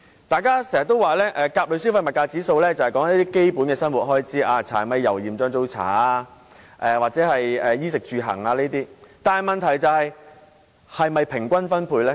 大家經常說甲類消費物價指數反映的是基本生活開支，例如"柴米油鹽醬醋茶"或"衣食住行"等，但問題是這些開支是否平均分配呢？